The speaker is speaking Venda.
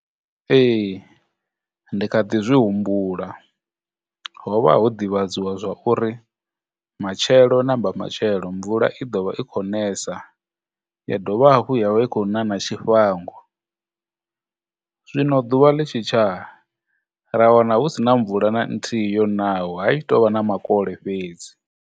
Ee, ndi kha ḓi zwi humbula, hovha ho divhadziwa zwa uri matshelo na mbamatshelo mvula i ḓo vha i khou nesa, ya dovha hafhu ya vha i khou na na tshifhango, zwino ḓuvha ḽi tshi tsha ra wana hu sina mvula na nthihi yonaho ha tshi to vha na makole fhedzi